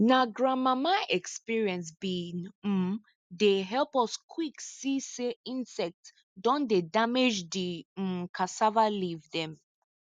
na grandmama experience bin um dey help us quick see say insect don dey damage di um cassava leaf dem